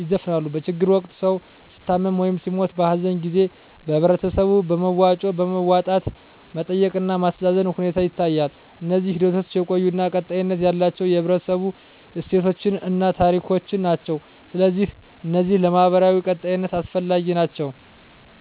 ይዘፍናሉ። በችግር ወቅት ሰዉ ሲታመም ወይም ሲሞት(በሀዘን) ጊዜ በህበረተሰቡ በመዋጮ በማዋጣት መጠየቅ እና ማስተዛዘን ሁኔታ ይታያል። እነዚህ ሂደቶች የቆዩ እና ቀጣይነት ያላቸው የህብረተሰቡ እሴቶችን እና ታሪኮችን ናቸው። ስለዚህ እነዚህ ለማህበራዊ ቀጣይነት አስፈላጊ ናቸው